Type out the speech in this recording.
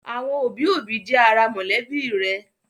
Àwọn òbí-òbí ẹni jẹ́ ara mọ̀lẹ́bí rẹ̀.